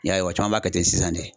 I y'a ye caman b'a kɛ ten sisan de